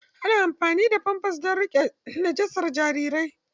Ana amfani da famfas don riƙe najasar jarirai.